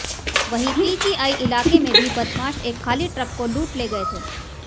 वहीं पीजीआई इलाके में भी बदमाश एक खाली ट्रक को लूट ले गये थे